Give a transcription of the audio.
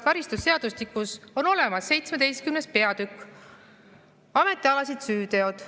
Karistusseadustikus on olemas 17. peatükk "Ametialased süüteod".